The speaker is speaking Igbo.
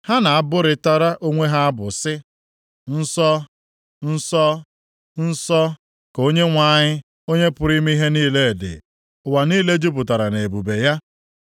Ha na-abụrịtara onwe ha abụ, sị, “Nsọ, Nsọ, Nsọ, ka Onyenwe anyị, Onye pụrụ ime ihe niile dị. Ụwa niile jupụtara nʼebube ya.”